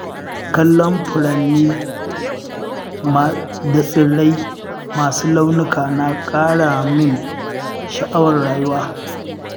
Kallon furanni da tsirrai masu launuka na ƙara min sha’awar rayuwa.